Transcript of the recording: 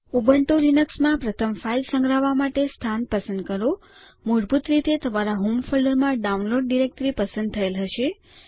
Ubuntu લીનક્સમાં પ્રથમ file સંગ્રહવા માટે સ્થાન પસંદ કરો મૂળભૂત રીતે તમારા હોમ ફોલ્ડરમાં ડાઉનલોડ ડિરેક્ટરી પસંદ થયેલ હશે